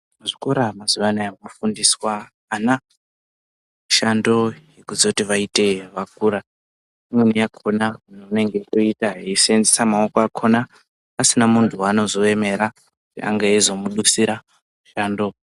Muzvikora mazuva anaya mofundiswa ana mishando yokuzoti vaite vakura. Imweni yakhona vanenge voiita veiseenzesa maoko akhona, pasina muntu waanozoemera kuti ange eizomudutsira mushando.